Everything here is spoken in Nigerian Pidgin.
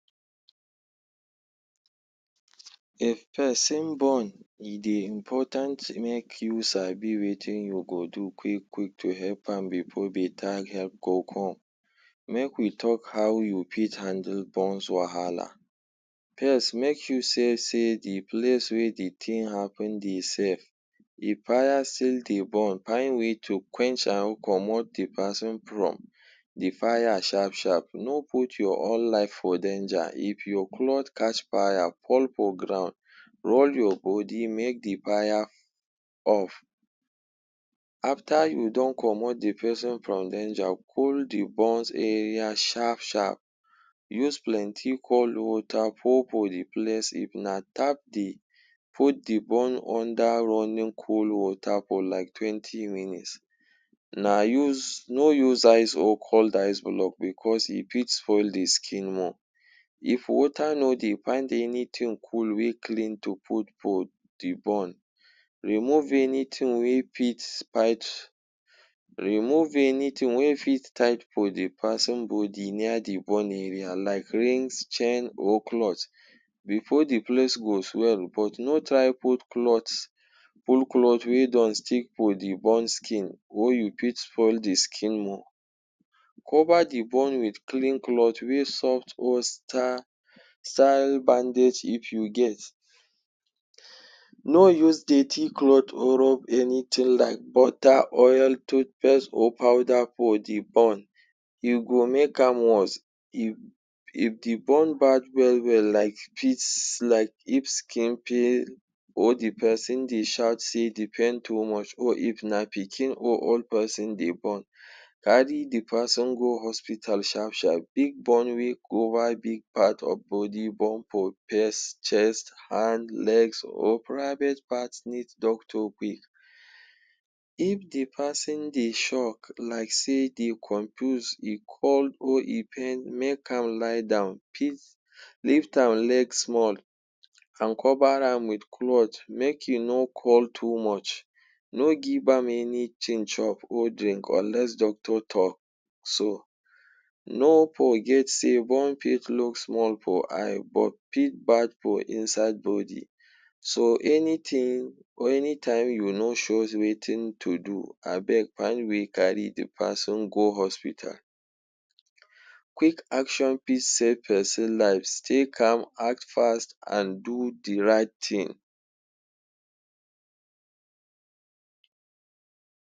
If peson burn, e dey important make you sabi wetin you go do quick-quick to help am bepore beta help go come. Make we talk how you pit handle burns wahala. pirst, make sure sey sey the place wey the tin happen dey sef. If pire still dey burn, pind way to quench am, comot the peson prom the fire sharp-sharp. No put your own life for danger. Ip your cloth catch fire, fall for ground, roll your body make the pire off. After you don comot the peson from danger, cool the burns area sharp-sharp. Use plenty cold water pour for the place. If na tap dey, put the burn under running cold water for like twenty minutes. Na use no use ice or cold ice-block becos e fit spoil the skin more. If water no dey, find anything cool wey clean to put for the burn. Remove anything wey pit remove anything wey fit tight for the peson body near the burn area like rings, chain, or cloth before the place go swell. But no try put cloth pull cloth wey don stick for the burn skin wey you fit spoil the skin more. Cover the burn with clean cloth wey soft or bandage if you get. No use dirty cloth or rub anything like butter, oil, toothpaste or powder for the burn. You go make am worse. If if the burn bad well-well like like if skin peel, or di peson dey shout sey the pain too much, or if na pikin or old peson dey burn, carry the peson go hospital sharp-sharp. Big Burn wey cover big part of body, burn for pace, chest, hand, legs or private part need doctor quick If dey peson dey shock like sey dey conpuse e call or e pain, make am lie down, lift am leg small, an cover am with cloth make e no too much. No give am anything chop or drink unless doctor talk so. No forget sey burn fit look small for eye but fit bad for inside body. So, anything, or anytime you no surez wetin to do, abeg find way carry the peson go hospital. Quick action pis save peson lives. Stay calm, act fast and do the right tin.